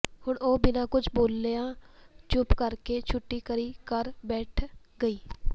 ਹੁਣ ਉਹ ਬਿਨਾਂ ਕੁਝ ਬੋਲਿਆ ਚੁੱਪ ਕਰਕੇ ਛੁੱਟੀ ਕਰੀ ਘਰ ਬੈਠ ਗਈ